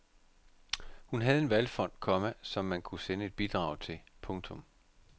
Hun havde en valgfond, komma som man kunne sende et bidrag til. punktum